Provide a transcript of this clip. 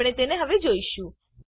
આપણે તેને હવે જોઈશું